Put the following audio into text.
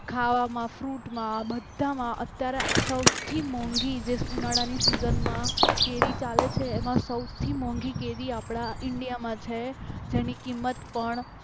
ખાવામાં ફ્રુટમાં બધામાં અત્યારે સૌથી મોંઘી જે ઉનાળાની સીઝનમાં કેરી ચાલે છે એમાં સૌથી મોંઘી કેરી આપણા ઇન્ડિયામાં છે જેની કિંમત પણ